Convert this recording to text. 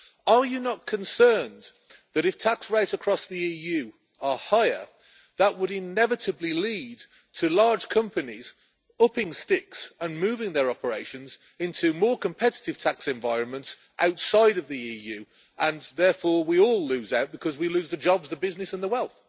Are you not concerned that, if tax rates across the EU are higher, that would inevitably lead to large companies upping sticks and moving their operations into more competitive tax environments outside of the EU, and therefore we all lose out because we lose the jobs, the business and the wealth?